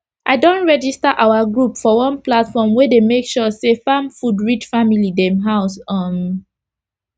i don register our group for one platform wey dey make sure say farm food reach family dem house um